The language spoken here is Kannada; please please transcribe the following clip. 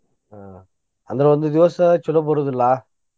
ಹ್ಮ್ ಅಂದ್ರ ಒಂದ್ ದಿವ್ಸ ಚೊಲೋ ಬರೋದಿಲ್ಲಾ.